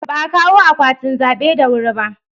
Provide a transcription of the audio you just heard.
Ba a kawo akwatin zabe da wuri ba.